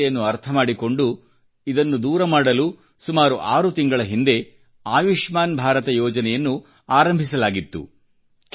ಈ ಸಮಸ್ಯೆಯನ್ನು ಅರ್ಥಮಾಡಿಕೊಂಡು ಇದನ್ನು ದೂರಮಾಡಲು ಸುಮಾರು ಆರು ತಿಂಗಳ ಹಿಂದೆ ಆಯುಷ್ಮಾನ್ ಭಾರತ ಯೋಜನೆಯನ್ನು ಆರಂಭಿಸಲಾಗಿತ್ತು